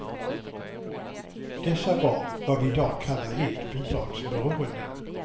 Dessa var vad vi i dag kallar helt bidragsberoende.